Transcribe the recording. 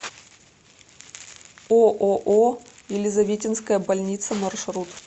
ооо елизаветинская больница маршрут